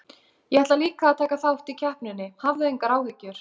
Ég ætla líka að taka þátt í keppninni, hafðu engar áhyggjur.